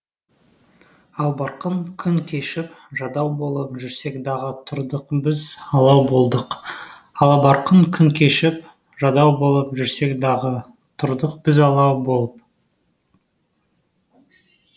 албарқын күн кешіп жадау болып жүрсек дағы тұрдық біз алау болдық алабарқын күн кешіп жадау болып жүрсек дағы тұрдық біз алау болып